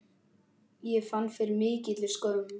Ég fann fyrir mikilli skömm.